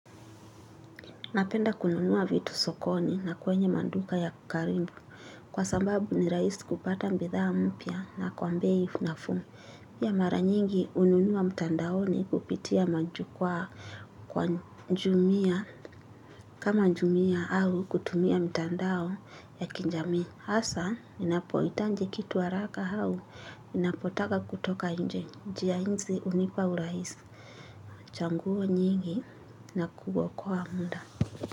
Napenda kununua vitu sokoni na kwenye manduka ya karimbu kwa sambabu ni rahisi kupata mbitha mpya na kwambei nafuu. Pia mara nyingi ununua mtandaoni kupitia majukwa kwa njumia kama njumia au kutumia mtandao ya kinjami. Asa ninapoitanji kitu haraka au ninapotaka kutoka nje. Njia hinzi hunipa uraisi. Changuo nyingi na kubwa kwa muda.